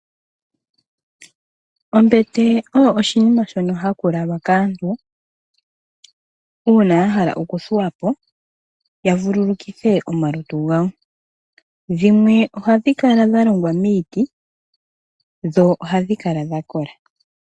Ombete oyo oshinima shono hashi lalwa kaantu uuna ya hala oku thuwa po ya vululukithe omalutu gawo. Ohadhi kala dha kola, dhimwe odha longwa miiti.